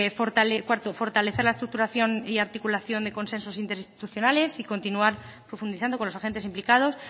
cuarto fortalecer la estructuración y articulación de consensos interinstitucionales y continuar profundizando con los agentes implicados